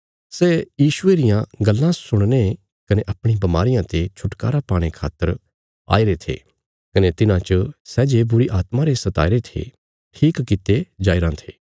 सै यीशुये रियां गल्लां सुणने कने अपणी बमारियां ते छुटकारा पाणे खातर आईरे थे कने तिन्हां च सै जे बुरीआत्मा रे सताईरे थे ठीक कित्ते जाईराँ थे